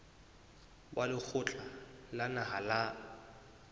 wa lekgotla la naha la